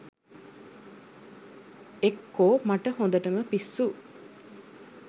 එක්කෝ මට හොඳටම පිස්සු